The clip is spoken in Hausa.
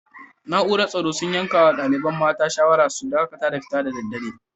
Naúrar tsoro sun yanka ma dalibain mata shawara su dakatar da fitowa da dare.